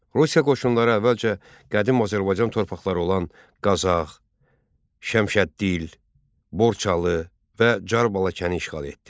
Rusiya qoşunları əvvəlcə qədim Azərbaycan torpaqları olan Qazax, Şəmşəddil, Borçalı və Car Balakəni işğal etdi.